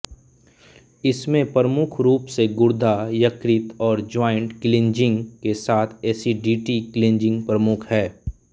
इसमें प्रमुख रूप से गुर्दा यकृतऔर ज्वॉइन्ट क्लींजिंग के साथ एसिडिटी क्लींजिंग प्रमुख है